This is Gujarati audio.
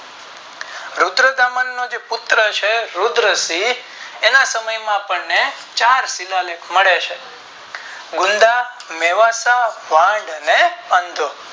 રુદ્રતામન નો પુત્ર છે રુદ્રસિંહ એના સમય ના આપણે ચાર શિલાલેખ મળે છે મુંદા મેવાતા વાંદ અને અંધો